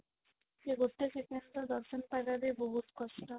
ସେ ଗୋଟେ second ର ଦର୍ଶନ ପାଇବା ବି ବହୁତ କଷ୍ଟ